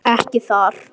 Ekki þar.